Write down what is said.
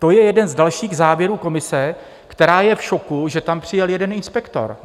To je jeden z dalších závěrů komise, která je v šoku, že tam přijel jeden inspektor.